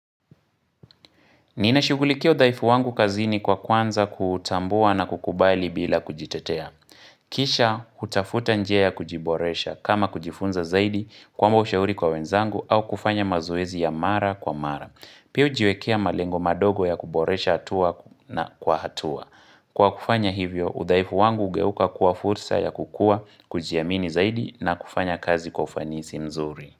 Ninashughulikia udhaifu wangu kazini kwa kwanza kuutambua na kukubali bila kujitetea. Kisha hutafuta njia ya kujiboresha kama kujifunza zaidi kuomba ushauri kwa wenzangu au kufanya mazoezi ya mara kwa mara. Pia hujiwekea malengo madogo ya kuboresha hatua na kwa hatua. Kwa kufanya hivyo udhaifu wangu hugeuka kuwa fursa ya kukua kujiamini zaidi na kufanya kazi kwa ufanisi mzuri.